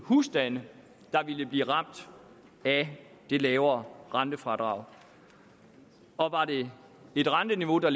husstande der ville blive ramt af det lavere rentefradrag og var det et renteniveau der